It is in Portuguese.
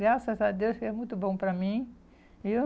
Graças a Deus, é muito bom para mim, viu?